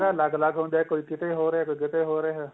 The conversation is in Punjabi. ਅਲੱਗ ਅਲੱਗ ਹੁੰਦਾ ਕੋਈ ਕੀਤੇ ਹੋ ਰਿਹਾ ਕੋਈ ਕੀਤੇ ਹੋ ਰਿਹਾ